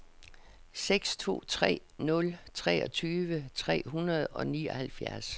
seks to tre nul treogtyve tre hundrede og nioghalvfjerds